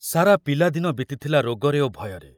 ସାରା ପିଲା ଦିନ ବିତିଥିଲା ରୋଗରେ ଓ ଭୟରେ।